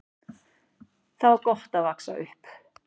Þar var gott að vaxa upp.